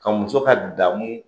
Ka muso ka damu